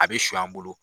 A bɛ su an bolo